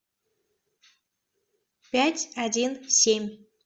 пять один семь